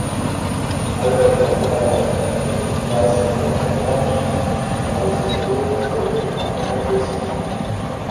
Morje je bilo komajda petindvajset metrov proč, valovi so se penasto rušili na moker pesek.